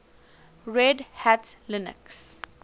red hat linux